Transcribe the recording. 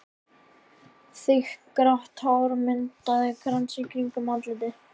Þykkt grátt hár myndaði krans í kringum andlitið.